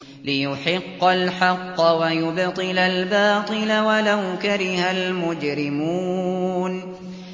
لِيُحِقَّ الْحَقَّ وَيُبْطِلَ الْبَاطِلَ وَلَوْ كَرِهَ الْمُجْرِمُونَ